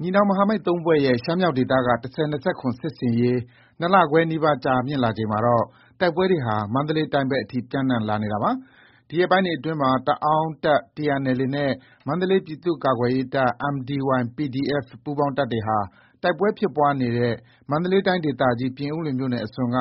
ညီနောင်မဟာမိတ် ၃ဖွဲ့ရဲ့ ရှမ်းမြောက်ဒေသက ၁၀၂၇ စစ်ဆင်ရေးဟာ ၂လခွဲနီးပါး ကြာမြင့်လာချိန်မှာတော့ တိုက်ပွဲတွေဟာ မန္တလေးတိုင်းဘက်အထိ ပျံနှံ လာနေတာဖြစ်ပါတယ်။ ဒီရက်ပိုင်းတွေအတွင်းမှာ တအာင်းတပ် TNLA နဲ့ မန္တလေး ပြည်သူ့ကာကွယ်ရေးတပ် MDY-PDF ပူးပေါင်းတပ်တွေဟာ တိုက်ပွဲဖြစ်ပွားနေတဲ့ မန္တလေးတိုင်းဒေသကြီး ပြင်ဦးလွင်မြို့နယ်အစွန်က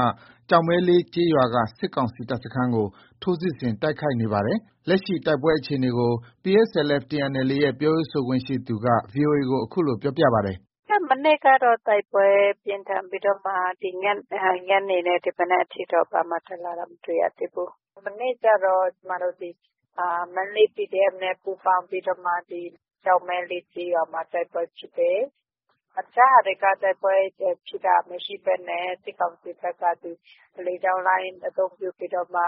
ကျောက်မဲလေး ကျေးရွာက စစ်ကောင်စီတပ်စခန်းကို ထိုးစစ်ဆင် တိုက်ခိုက်နေပါတယ်။ လက်ရှိ တိုက်ပွဲအခြေအနေကို PSLF/ TNLA ရဲ့ ပြောရေးဆိုခွင့်ရှိသူက VOA ကို အခုလို ပြောပါတယ်။ “မနေ့ကတော့ တိုက်ပွဲပြင်းထန်ပြီးတော့မှ ဒီညနေနဲ့ မနက်ကအထိကတော့ ဘာမှ တက်လာတာ မရှိသေးဘူး။ မနေ့ကျတော့ ဒီ မန္တလေး PDF နဲ့ ပူးပေါင်းပြီးတော့မှ ဒီ ကျောက်မဲလေး ကျေးရွာမှာ တိုက်ပွဲဖြစ်တယ်။ အခြားဟာတွေက တိုက်ပွဲဖြစ်တာ မရှိဘဲနဲ့ စစ်ကောင်စီက လေကြောင်းလိုင်း အသုံးပြုပြီးတော့မှ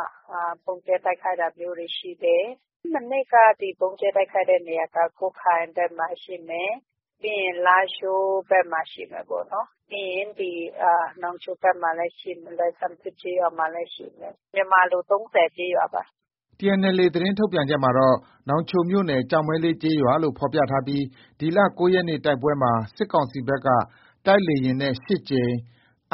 ဗုံးကြဲ တိုက်ခိုက်တာမျိုးတွေ ရှိတယ်။ မနေ့က ဒီ ဗုံးကြဲတိုက်ခိုက်တဲ့နေရာက ကွတ်ခိုင်ဘက်မှာ ရှိမယ်။ ပြီးရင် လားရှိုးဘက်မှာ ရှိမယ်ပေါ့နော်။ ပြီးရင် နောင်ချိုဘက်မှာ လွိုင်ဆမ်ဆစ် ကျေးရွာမှာလည်း ရှိမယ်။ မြန်မာလို သုံးဆယ်ကျေးရွာပါ။” TNLA သတင်းထုတ်ပြန်ချက်မှာတော့ နောင်ချိုမြို့နယ်၊ ကျောက်မဲလေး ကျေးရွာလို့ ဖော်ပြထားပြီး ဒီလ ၉ရက်နေ့တိုက်ပွဲမှာ စစ်ကောင်စီဘက်က တိုက်လေယာဉ်နဲ့ ၈ကြိမ်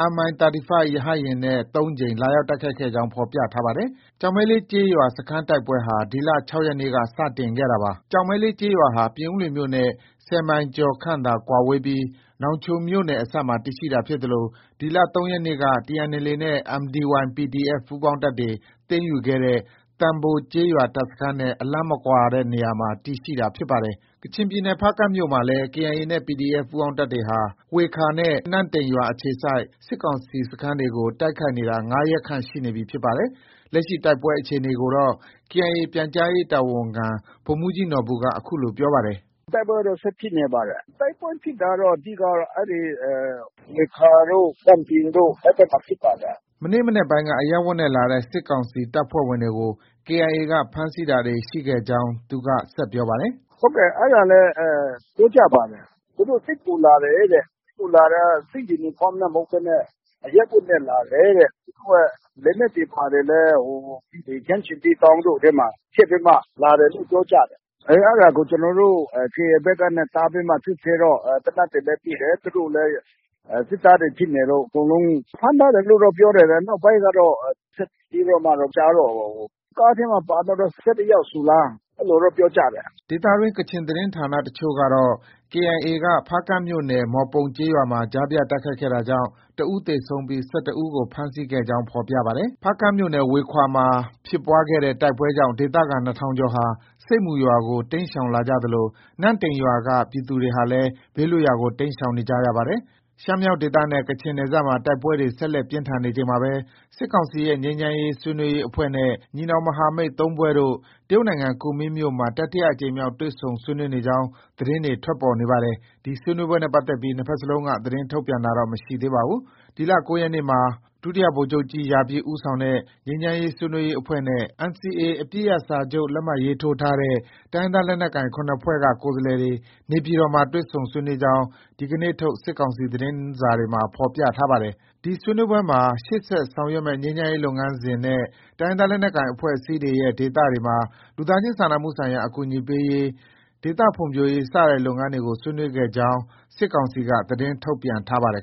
၊ MI 35 ရဟတ်ယာဉ်နဲ့ ၃ ကြိမ် လာရောက်တိုက်ခိုက်ခဲ့ကြောင်း ဖော်ပြထားပါတယ်။ ကျောက်မဲလေး ကျေးရွာ စခန်းတိုက်ပွဲဟာ ဒီလ ၆ ရက်နေ့က စတင်ခဲ့တာပါ။ ကျောက်မဲလေး ကျေးရွာဟာ ပြင်ဦးလွင်မြို့နဲ့ ၁၀ မိုင်ကျော်ခန့်သာကွာဝေးပြီး နောင်ချိုမြို့နယ် အစပ်မှာ တည်ရှိတာ ဖြစ်သလို ဒီလ ၃ရက်နေ့က TNLA နဲ့ MDY-PDF ပူးပေါင်းတပ်တွေ သိမ်းယူခဲ့တဲ့ သံဘို ကျေးရွာတပ်စခန်းနဲ့ အလှမ်းမကွာတဲ့နေရာမှာ တည်ရှိတာဖြစ်ပါတယ်။ ကချင်ပြည်နယ်၊ ဖားကန့်မြို့မှာလည်း KIA နဲ့ PDF ပူးပေါင်းတပ်တွေဟာ ဝှေခါ နဲ့ နန့်တိန်ရွာအခြေစိုက် စစ်ကောင်စီတပ်စခန်းတွေကို တိုက်ခိုက်နေတာ ၅ရက်ခန့် ရှိနေပြီဖြစ်ပါတယ်။ လက်ရှိ တိုက်ပွဲအခြေအနေကိုတော့ KIA ပြန်ကြားရေးတာဝန်ခံ ဗိုလ်မှုးကြီးနော်ဘူက အခုလို ပြောပါတယ်။ “ တိုက်ပွဲကတော့ ဆက်ဖြစ်နေပါတယ်။ တိုက်ပွဲဖြစ်တာကတော့ အဓိကကတော့ အဲဒီ ဝှေခါ တို့၊ နန့်တိန် တို့ဘက်မှာ ဖြစ်ပါတယ်။” အင်္ဂါနေ့ မနက်ပိုင်းက အရပ်ဝတ်နဲ့လာတဲ့ စစ်ကောင်စီတပ်ဖွဲ့ဝင်တွေကို KIA ဖမ်းဆီးတာတွေ ရှိခဲ့ကြောင်း ဆက်ပြောပါတယ်။ “ ဟုတ်ကဲ့၊ အဲဒါလည်း ပြောကြပါတယ်။ သူတို့ စစ်ကူလာတယ်တဲ့။ စစ်ကူလာတာ စစ်ယူနီဖောင်းနဲ့ မဟုတ်ဘဲနဲ့ အရပ်ဝတ်နဲ့ လာတယ်တဲ့။ သူတို့ရဲ့လက်နက်တွေဘာတွေလည်း ဒီ ခရမ်းချဉ်သီးတောင်းတို့ထဲမှာ ထည့်ပြီးမှ လာတယ်လို့ ပြောကြတယ်။ အဲဒါကို ကျနောတို့ KIA ဘက်က တားပြီးမှ စစ်ဆေးတော့ သေနတ်တွေလည်း မိတယ်။ သူတို့လည်း စစ်သားတွေဖြစ်နေလို့ ဖမ်းထားတယ်လို့တော့ ပြောတယ်။ နောက်ပိုင်းကတော့ ဆက်ပြီးတော့မှ မကြားတော့ဘူး။ ကားထဲမှာ ပါတာတော့ ၁၁ယောက်ဆိုလား အဲလိုတော့ ပြောကြတယ်။ ” ဒေသတွင်း ကချင်သတင်းဌာနအချို့က KIA က ဖားကန့်မြို့နယ် မှော်ပုံကျေးရွာမှာ ကြားဖြတ်တိုက်ခိုက်ခဲ့တာကြောင့် တဦးသေဆုံးပြီး ၁၁ ဦးကို ဖမ်းဆီးခဲ့ကြောင်း ဖော်ပြပါတယ်။ ဖားကန့်မြို့နယ် ဝှေခါ မှာ ဖြစ်ပွားတဲ့တိုက်ပွဲကြောင့် ဒေသခံ ၂ထောင်ကျော်ဟာ ဆိပ်မူ ရွာကို တိမ်းရှောင်လာကြသလို နန့်တိန်ရွာက ပြည်သူတွေဟာလည်း ဘေးလွတ်ရာကို တိမ်းရှောင်နေကြရပါတယ်။ ရှမ်းမြောက်ဒေသနဲ့ ကချင်ပြည်နယ်မှာ တိုက်ပွဲတွေ ဆက်လက်ပြင်းထန်နေချိန်မှာပဲ စစ်ကောင်စီရဲ့ငြိမ်းချမ်းရေး ဆွေးနွေးရေးအဖွဲ့နဲ့ ညီနောင်မဟာမိတ် ၃ဖွဲ့တို့ တရုတ်နိုင်ငံကူမင်းမြို့မှာ တတိယအကြိမ်မြောက် တွေ့ဆုံဆွေးနွေးနေကြောင်း သတင်းတွေ ထွက်ပေါ်နေပါတယ်။ ဒီဆွေးနွေးပွဲနဲ့ပတ်သက်ပြီး နှစ်ဘက်စလုံးက သတင်းထုတ်ပြန်တာတော့ မရှိသေးပါဘူး။ ဒီလ ၉ရက်နေ့မှာ ဒုတိယဗိုလ်ချုပ်ကြီး ရာပြည့် ဦးဆောင်တဲ့ ငြိမ်းချမ်းဆွေးနွေးရေးအဖွဲ့နဲ့ NCA အပစ်ရပ်စာချုပ် လက်မှတ်ရေးထိုးထားတဲ့ တိုင်းရင်းသားလက်နက်ကိုင် ၇ဖွဲ့က ကိုယ်စားလှယ်တွေ နေပြည်တော်မှာ တွေ့ဆုံဆွေးနွေးကြောင်း ဒီနေ့ထုတ် စစ်ကောင်စီ သတင်းစာတွေမှာ ဖော်ပြထားပါတယ်။ ဒီဆွေးနွေးပွဲမှာ ရှေ့ဆက် ဆောင်ရွက်မယ့် ငြိမ်းချမ်းရေးလုပ်ငန်းစဉ်နဲ့ တိုင်းရင်းသားလက်နက်ကိုင် အဖွဲ့အစည်းတွေရဲ့ ဒေသတွေမှာ လူသားချင်းစာနာမှုဆိုင်ရာ အကူအညီပေးရေး၊ ဒေသဖွံ့ဖြိုးရေး စတဲ့ လုပ်ငန်းရပ်တွေကို ဆွေးနွေးခဲ့ကြောင်း စစ်ကောင်စီက သတင်း ထုတ်ပြန်ထားပါတယ်